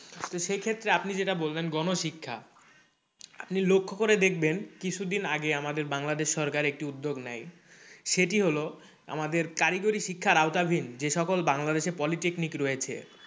তো সেই ক্ষেত্রে আপনি যেটা বললেন গণশিক্ষা আপনি লক্ষ্য করে দেখবেন কিছু দিন আগে আমাদের বাংলাদেশ সরকার একটি উদ্যোগ নেই সেটি হলে আমাদের কারিগরি শিক্ষার আওতাভীন যেসব সকল বাংলাদেশে polytechnic রয়েছে